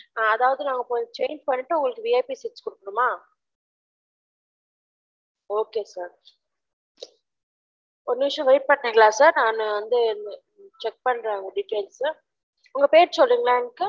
அதாவது நாங்க கொஞ்சம் change பண்ணிட்டு உங்களுக்கு VIP seat குடுக்கணுமா ok sir ஒரு நிமிஷம் wait பண்றீங்களா sir நான் வந்துட்டு check பண்றேன் உங்க details கொஞ்சம் உங்க பேர் சொல்றீங்களா